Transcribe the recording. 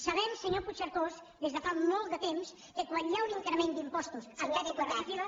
sabem senyor puigcercós des de fa molt de temps que quan hi ha un increment d’impostos en època recessiva